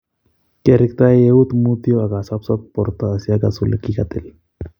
Kiareekte uet mutyo ak asosop borta asi akas ole kikakitil.